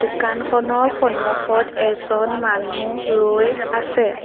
দোকানখনৰ সন্মুখত এজন মানুহ ৰৈ আছে।